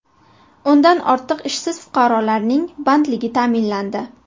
O‘ndan ortiq ishsiz fuqarolarning bandligi ta’minlandi.